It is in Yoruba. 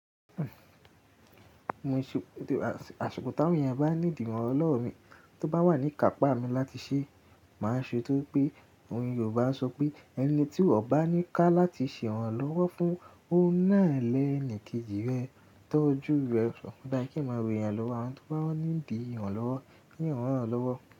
Àsìkò táwọn èèyàn bá need ìrànlọ́wọ́ mi tó bá wà nní ìkàpá mi láti ṣe, màá ṣe. To rípé àwọn Yorùbá ń sọ pé ẹni tí ọ̀ bá ní pá láti ṣe ìrànlọ́wọ́ fún, óun na ni ẹni kejì rẹ̀. Tọ́ ojú rẹ, sọ̀kọ̀tọ́ ayé kí n máa rí èèyàn lọ́wọ́, àwọn tó bá ní di ìrànlọ́wọ́, kí n ràn lọ́wọ́.